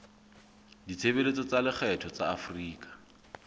ditshebeletso tsa lekgetho tsa afrika